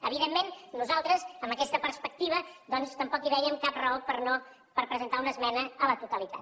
evidentment nosaltres amb aquesta perspectiva doncs tampoc hi veiem cap raó per presentar a la totalitat